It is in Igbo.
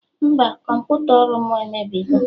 Mba, kọmputa ọrụ mụ emebigo